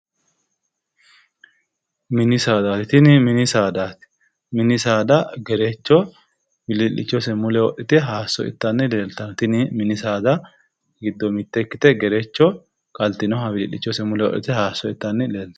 mini saadaati tini mini saada gerecho wilii'lichose mule wodhite hayiisso ittanni afantanno tini mini saada giddo mitte ikkite gerecho qaltinoha wilii'lichose mule wodhite hayiisso ittanni leeltanno.